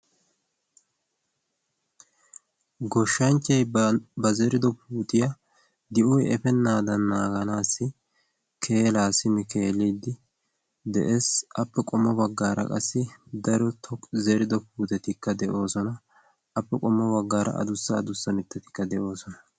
goshshanchchai ba zerido puutiyaa di7oy efennaadan naaganaassi keelaa simi eeliddi de7ees appe qommo baggaara qassi daro toqi zerido puutetikka de7oosona appe qommo baggaara adussa adussa mittatikka de7oosona